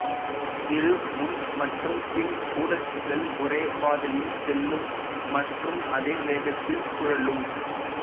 இரு முன் மற்றும் பின் ஊடச்சுகள் ஒரே பாதையில் செல்லும் மற்றும் அதே வேகத்தில் சுழலும்